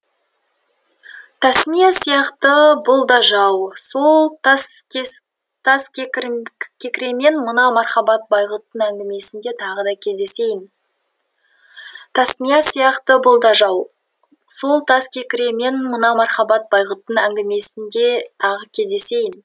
тасмия сияқты бұл да жау сол таскекіремен мына мархабат байғұттың әңгімесінде тағы кездесейін тасмия сияқты бұл да жау сол таскекіремен мына мархабат байғұттың әңгімесінде тағы кездесейін